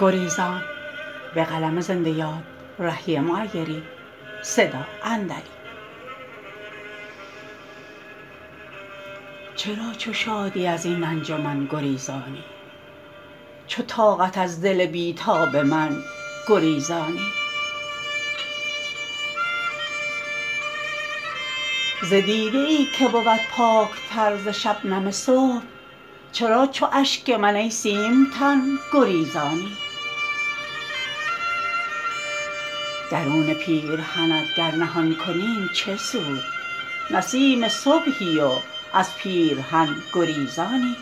چرا چو شادی از این انجمن گریزانی چو طاقت از دل بی تاب من گریزانی ز دیده ای که بود پاک تر ز شبنم صبح چرا چو اشک من ای سیم تن گریزانی درون پیرهنت گر نهان کنیم چه سود نسیم صبحی و از پیرهن گریزانی